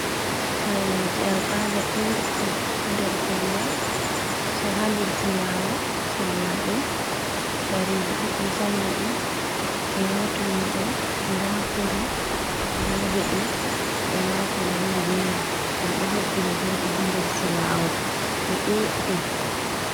kareji al ada ɗuɗɗum hader kondo hader silawo, sanyaum kareji ɗuddi sanyadi, be ma tummude da kore da bedi, e mako nandi be mai. Dum do hebbini jodi hander silawo di ɗuɗɗi.